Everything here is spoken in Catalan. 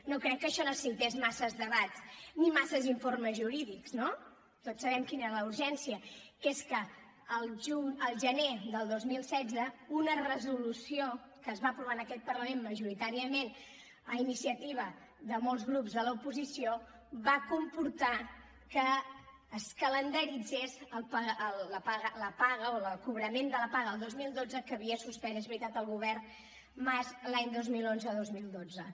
no crec que això necessités massa debats ni massa informes jurídics no tots sabem quina era la urgència que és que al gener del dos mil setze una resolució que es va aprovar en aquest parlament majoritàriament a iniciativa de molts grups de l’oposició va comportar que es calendaritzés la paga o el cobrament de la paga del dos mil dotze que havia suspès és veritat el govern mas l’any dos mil onze dos mil dotze